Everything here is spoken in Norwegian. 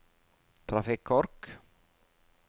trafikkork